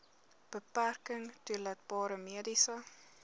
beperking toelaatbare mediese